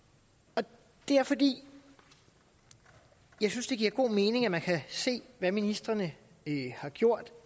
og det er fordi jeg synes det giver god mening at man kan se hvad ministrene har gjort